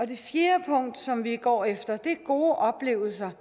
det fjerde punkt som vi går efter er gode oplevelser